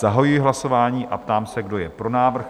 Zahajuji hlasování a ptám se, kdo je pro návrh?